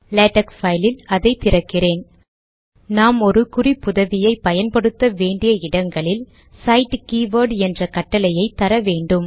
LaTeX பைலில் அதை திறக்கிறேன் நாம் ஒரு குறிப்புதவியை பயன்படுத்த வேண்டிய இடங்களில் சைட் கே வோர்ட் என்ற கட்டளையை தர வேண்டும்